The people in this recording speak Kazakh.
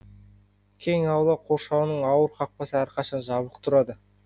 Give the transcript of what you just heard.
кең аула қоршауының ауыр қақпасы әрқашан жабық тұрады